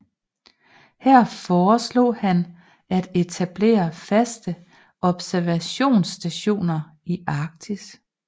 Her foreslog han at etablere faste observationsstationer i Arktis